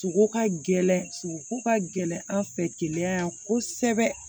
Sogo ka gɛlɛn sogoko ka gɛlɛn an fɛ keleya yan kosɛbɛ